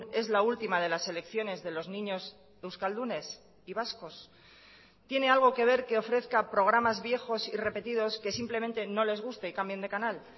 es la última de las elecciones de los niños euskaldunes y vascos tiene algo que ver que ofrezca programas viejos y repetidos que simplemente no les guste y cambien de canal